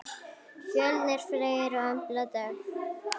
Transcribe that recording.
Fjölnir Freyr og Embla Dögg.